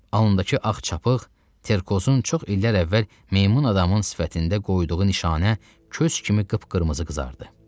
Alnındakı ağ çapıq Terkozun çox illər əvvəl meymun adamın sifətində qoyduğu nişanə köz kimi qıpqırmızı qızardı.